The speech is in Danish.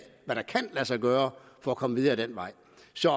hvad der kan lade sig gøre for at komme videre ad den vej